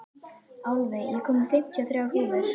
Álfey, ég kom með fimmtíu og þrjár húfur!